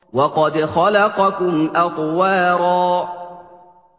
وَقَدْ خَلَقَكُمْ أَطْوَارًا